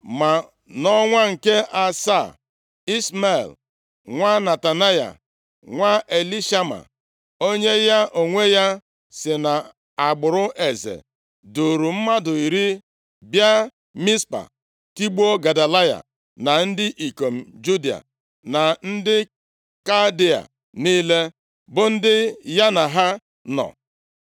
Ma nʼọnwa nke asaa, Ishmel nwa Netanaya, nwa Elishama, onye ya onwe ya si nʼagbụrụ eze, duuru mmadụ iri bịa Mizpa, tigbuo Gedaliya, na ndị ikom Juda na ndị Kaldịa niile, bụ ndị ya na ha nọ.